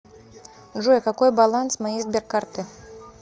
джой какой баланс моей сберкарты